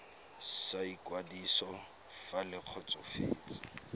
sa ikwadiso fa le kgotsofetse